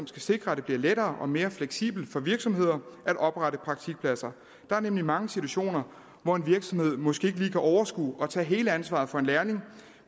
skal sikre at det bliver lettere og mere fleksibelt for virksomheder at oprette praktikpladser der er nemlig mange situationer hvor en virksomhed måske kan overskue at tage hele ansvaret for en lærling